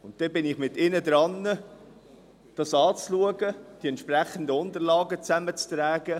Dann schaue ich dies mit ihr an und trage die entsprechenden Unterlagen zusammen.